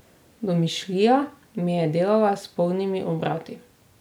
Domišljija mi je delala s polnimi obrati.